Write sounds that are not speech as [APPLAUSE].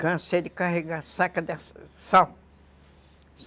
Cansei de carregar saca [UNINTELLIGIBLE] de sal.